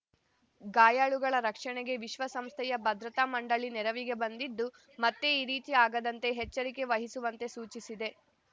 ಗಾಯಾಳುಗಳ ರಕ್ಷಣೆಗೆ ವಿಶ್ವಸಂಸ್ಥೆಯ ಭದ್ರತಾ ಮಂಡಳಿ ನೆರವಿಗೆ ಬಂದಿದ್ದು ಮತ್ತೆ ಈ ರೀತಿ ಆಗದಂತೆ ಎಚ್ಚರಿಕೆ ವಹಿಸುವಂತೆ ಸೂಚಿಸಿದೆ